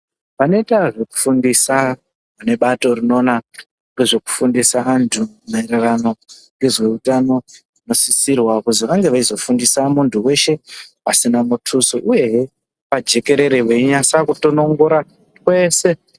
Vanoita zvekufundisa vane bato rinoona ngezve kufundisa antu maererano nezveutano vanosisirwa kuti vange veizofundisa muntu weshe pasina mutuso uyehe pajekerere veinase kutonongora twese..